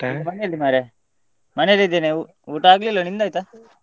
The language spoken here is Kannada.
ಮನೆಯಲ್ಲಿ ಮಾರ್ರೆ ಮನೆಯಲ್ಲಿ ಇದ್ದೇನೆ ಊಟ ಆಗ್ಲಿಲ್ಲ ನಿಂದಾಯ್ತಾ?